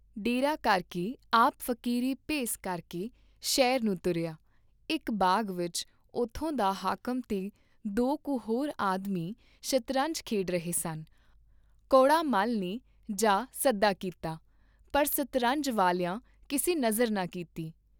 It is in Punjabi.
ਡੇਰਾ ਕਰਕੇ ਆਪ ਫਕੀਰੀ ਭੇਸ ਕਰ ਕੇ ਸ਼ਹਿਰ ਨੂੰ ਤੁਰਿਆ, ਇਕ ਬਾਗ ਵਿਚ ਉਥੋਂ ਦਾ ਹਾਕਮ ਤੇ ਦੋ ਕੁ ਹੋਰ ਆਦਮੀ ਸ਼ਤਰੰਜ ਖੇਡ ਰਹੇ ਸਨ ਕੌੜਾ ਮੱਲ ਨੇ ਜਾ ਸਦਾ ਕੀਤੀ, ਪਰ ਸਤਰੰਜ ਵਾਲਿਆਂ ਕਿਸੇ ਨਜ਼ਰ ਨਾ ਕੀਤੀ।